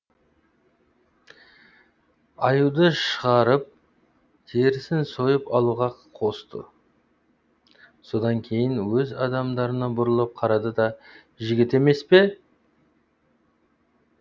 аюды шығарып терісін сойып алуға қосты содан кейін өз адамдарына бұрылып қарады да жігіт емес пе